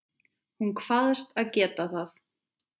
Hún kvaðst geta það.